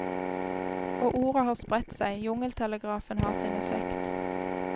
Og ordet har spredt seg, jungeltelegrafen har sin effekt.